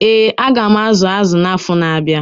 Ee, aga m azu azụ na-afọ na-abịa.